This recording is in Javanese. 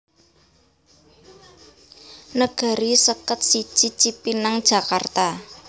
Negeri seket siji Cipinang Jakarta